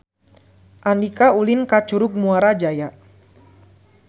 Andika ulin ka Curug Muara Jaya